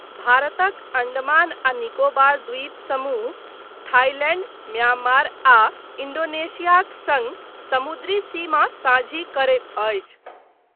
भारतक अण्डमान आ निकोबार द्वीप समूह थाइलैण्ड, म्यांमार आ इन्डोनेशियाक सङ्ग समुद्री सीमा साझी करैत अछि।